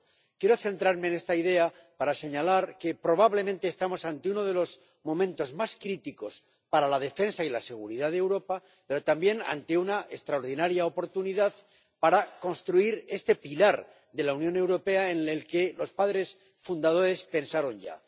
Quiero centrarme en esta idea para señalar que, probablemente, estamos ante uno de los momentos más críticos para la defensa y la seguridad de Europa, pero también ante una extraordinaria oportunidad para construir este pilar de la Unión Europea en el que los padres fundadores pensaron ya.